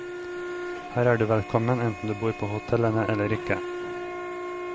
Her er du velkommen enten du bor på hotellene eller ikke.